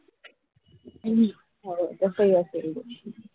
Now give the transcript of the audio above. हम्म हो तसही असेल